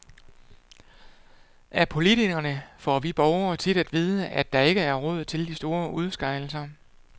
Af politikerne får vi borgere tit at vide, at der ikke er råd til de store udskejelser.